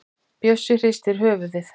Bjössi hristir höfuðið.